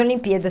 Olimpíada